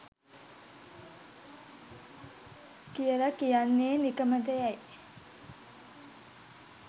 කියලා කියන්නේ නිකමටයැ?